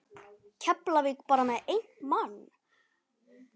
Keflavík bara með einn mann?